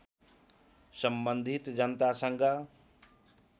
सम्बन्धित जनतासँग